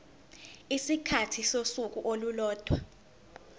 isikhathi sosuku olulodwa